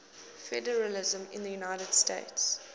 federalism in the united states